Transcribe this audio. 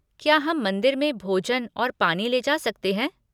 क्या हम मंदिर में भोजन और पानी ले जा सकते हैं?